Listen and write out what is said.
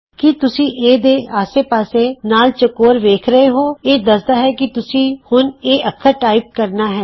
ਕੀ ਤੁਸੀਂ ਏ ਦੇ ਆਸੇ ਪਾਸੇ ਲਾਲ ਚੋਕੌਰ ਵੇਖ ਰਹੇ ਹੋ ਇਹ ਦੱਸਦਾ ਹੈ ਕਿ ਤੁਸੀਂ ਹੁਣ ਇਹ ਅੱਖਰ ਟਾਈਪ ਕਰਨਾ ਹੈ